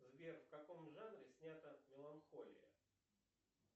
сбер в каком жанре снята меланхолия